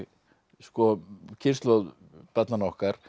sko kynslóð barnanna okkar